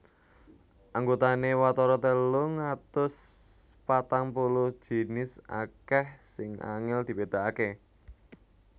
Anggotané watara telung atus patang puluh jinis akèh sing angèl dibédakaké